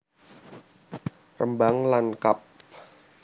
Rembang lan kab